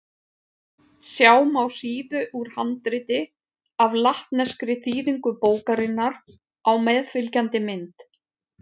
Sjá má síðu úr handriti af latneskri þýðingu bókarinnar á meðfylgjandi mynd.